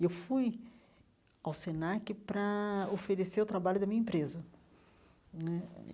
E eu fui ao Senac para oferecer o trabalho da minha empresa né.